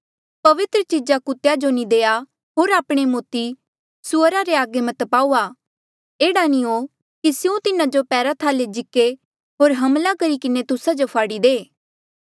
पवित्र चीजा कुत्तेया जो नी देआ होर आपणे मोती सुअरा रे अगे मत पाऊआ एह्ड़ा नी हो कि स्यों तिन्हा जो पैरा थाले जिक्के होर हमला करी किन्हें तुस्सा जो फाड़ी दे